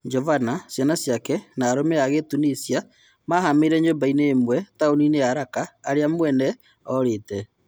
Jovana, ciana ciake na arũme a Gĩtunisia mahamĩire nyũmba ĩmwe taũninĩ ya Raka irĩa mwene ũrĩte.